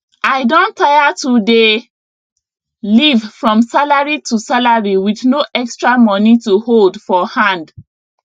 i don tire to dey live from salary to salary with no extra money to hold for hand